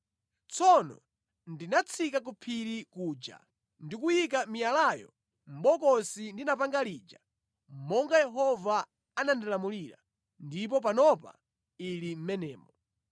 Tsono ndinatsika ku phiri kuja ndi kuyika miyalayo mʼbokosi ndinapanga lija monga Yehova anandilamulira, ndipo panopa ili mʼmenemo.